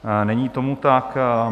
Není tomu tak.